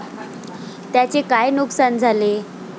त्यांचे काय नुकसान झाले?